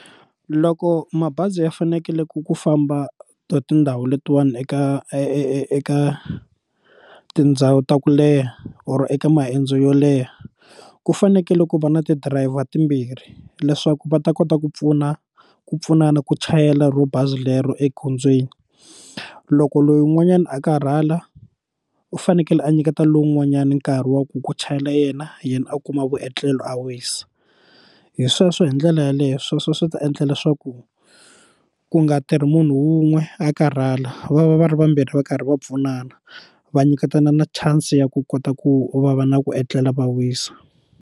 Loko mabazi ya fanekele ku ku famba to tindhawu letiwani eka eka tindhawu ta ku leha or eka mayendzo yo leha ku fanekele ku va na ti-driver timbirhi leswaku va ta kota ku pfuna ku pfunana ku chayela ro bazi lero egondzweni loko loyi un'wanyana a karhala u fanekele a nyiketa lowun'wanyani nkarhi wa ku ku chayela yena yena a kuma vuetlelo a wisa hi sweswo hi ndlela yaleyo sweswo swi ta endla leswaku ku nga tirhi munhu wun'we a karhala va va va ri vambirhi va karhi va pfunana va nyiketana na chance ya ku kota ku va va na ku etlela va wisa.